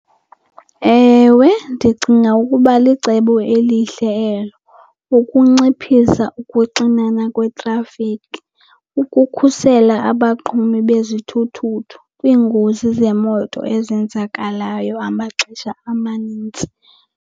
Ewe, ndicinga ukuba licebo elihle elo ukunciphisa ukuxinana kwetrafikhi, ukukhusela abaqhubi bezithuthuthu kwiingozi zemoto ezenzakalayo amaxesha amanintsi.